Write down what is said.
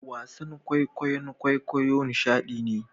Wasan kwaikwayon kwaikwayo nishadi ne